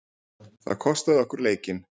Það kostaði okkur leikinn.